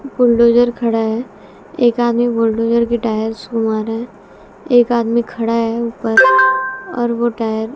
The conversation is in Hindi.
बुलडोजर खड़ा है एक आदमी बुलडोजर के टायर्स घुमा रहे एक आदमी खड़ा है ऊपर और वो टायर --